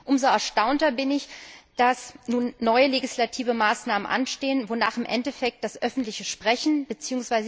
Umso erstaunter bin ich, dass nun neue legislative Maßnahmen anstehen, wonach im Endeffekt das öffentliche Sprechen bzw.